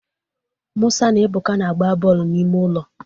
Musa na Ebuka na-agba bọọlụ n'ime ụlọ